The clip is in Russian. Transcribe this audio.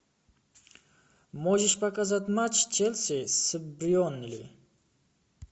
можешь показать матч челси с бернли